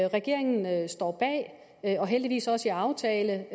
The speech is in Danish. regeringen står bag og heldigvis også i aftale